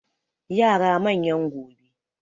Yara manyan gobe